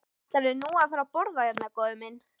Ætlarðu nú að fara að borða hérna, góði minn?